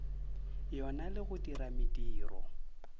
yona le go dira mediro